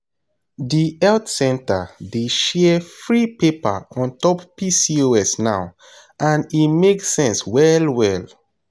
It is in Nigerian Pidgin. the health center dey share free paper on top pcos now and e make sense well well.